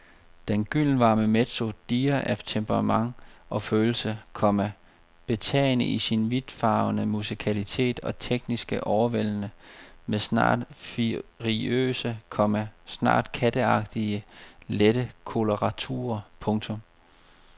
Den gyldenvarme mezzo dirrer af temperament og følelse, komma betagende i sin vidtfavnende musikalitet og teknisk overvældende med snart furiøse, komma snart katteagtigt lette koloraturer. punktum